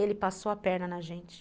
Ele passou a perna na gente.